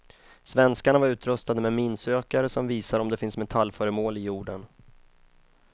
Svenskarna var utrustade med minsökare som visar om det finns metallföremål i jorden.